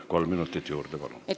Kolm minutit juurde, palun!